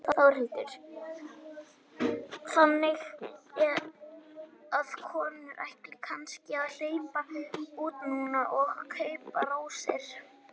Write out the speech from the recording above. Þórhildur: Þannig að konurnar ættu kannski að hlaupa út núna og kaupa rósir?